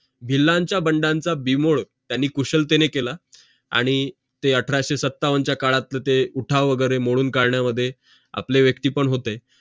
हेलांचं बंडाचा बिमोड त्यांनी कुशलतेने केलं आणि ते अठराशें सत्तावंच काळातला ते उठाव वगैरे मोडून काढण्या मध्ये आपले व्यक्ती पण होते